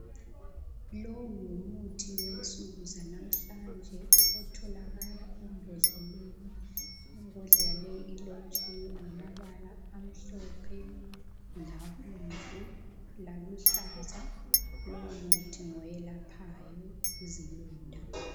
lowo ngumuthi wensuku zanamuhlanje otholakala embodleleni, imbodlela yakhona ilotshiwe ngamabala amhlophe labomvu laluhlaza lowo muthi ngoyelaphayo izilonda.